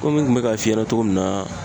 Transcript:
n kun be ka f'i ɲɛna cogo min na